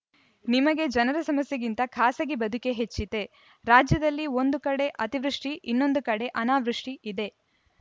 ನಿಮಗೆ ಜನರ ಸಮಸ್ಯೆಗಿಂತ ಖಾಸಗಿ ಬದುಕೇ ಹೆಚ್ಚಿತೆ ರಾಜ್ಯದಲ್ಲಿ ಒಂದು ಕಡೆ ಅತಿವೃಷ್ಟಿಇನ್ನೊಂದು ಕಡೆ ಅನಾವೃಷ್ಟಿಇದೆ